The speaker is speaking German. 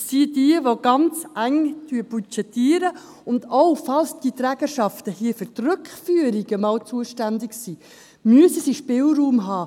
Das sind jene, die ganz eng budgetieren, und falls diese Trägerschaften einmal für Rückführungen zuständig sind, müssen sie Spielraum haben.